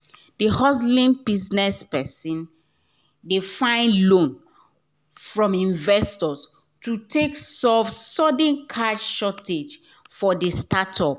d hustling business person dey find loan from investors to take solve sudden cash shortage for the startup.